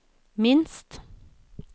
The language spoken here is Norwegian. minst